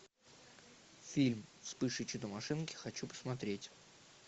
фильм вспыш и чудо машинки хочу посмотреть